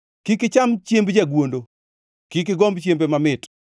Kik icham chiemb jagwondo, kik igomb chiembe mamit,